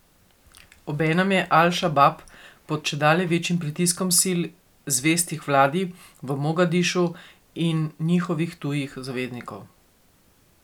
Obenem je Al Šabab pod čedalje večjim pritiskom sil, zvestih vladi v Mogadišu, in njihovih tujih zaveznikov.